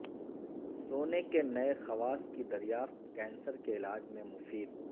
سونے کے نئے خواص کی دریافت کینسر کے علاج میں مفید